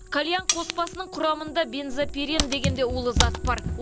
кальян қоспасының құрамында бензопирен деген де улы зат бар